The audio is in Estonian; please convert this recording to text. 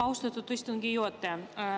Austatud istungi juhataja!